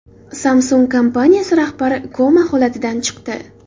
Samsung kompaniyasi rahbari koma holatidan chiqdi.